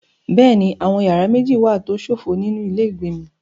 Bẹ́ẹ̀ni, àwọn yàrá méjì wà tó ṣófo nínú ilé ìgbé mi.